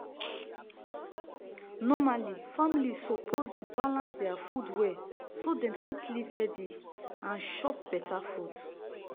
normally families suppose the balance deir food well so dem fit live healthy and chop better food.